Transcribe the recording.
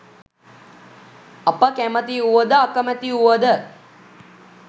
අප කැමති වුව ද අකමැති වුව ද